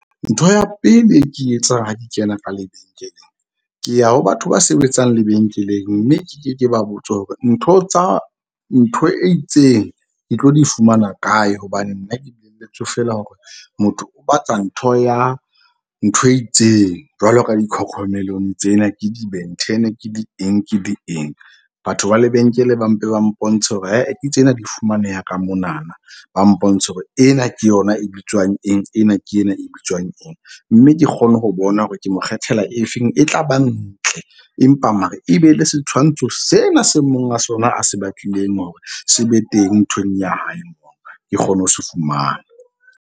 Ntho ya pele e ke e etsang ha di kena ka lebenkeleng, ke ya ho batho ba sebetsang lebenkeleng. Mme ke ke ke ba botse hore ntho tsa ntho e itseng ke tlo di fumana kae. Hobane nna ke feela hore motho o batla ntho ya ntho e itseng. Jwalo ka di-cocomelon tsena ke di-Ben10 ke di eng ke di eng. Batho ba lebenkele ba mpe ba mpontshe hore ae ke tsena ke di fumaneha ka monana. Ba mpontshe hore ena ke yona e bitswang eng. Ena ke ena e bitswang eng, mme ke kgone ho bona hore ke mo kgethela e feng e tla bang ntle. Empa mara e be le setshwantsho sena se monga sona a se batlileng hore se be teng nthweng ya hae ke kgone ho se fumana.